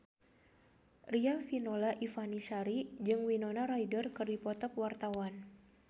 Riafinola Ifani Sari jeung Winona Ryder keur dipoto ku wartawan